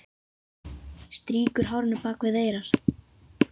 Strýkur hárinu bak við eyrað.